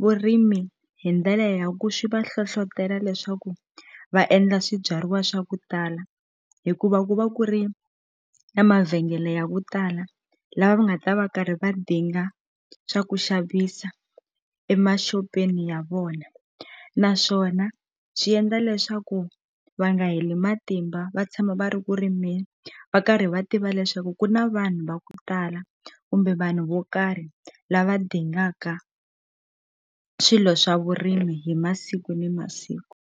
vurimi hi ndlela ya ku swi va hlohlotela leswaku va endla swibyariwa swa ku tala hikuva ku va ku ri na mavhengele ya ku tala la va nga ta va karhi va dinga swa ku xavisa emaxopeni ya vona naswona swi endla leswaku va nga heli matimba va tshama va ri ku rimeni va karhi va tiva leswaku ku na vanhu va ku tala kumbe vanhu vo karhi lava dingaka swilo swa vurimi hi masiku ni masiku.